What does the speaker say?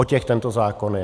O těch tento zákon je.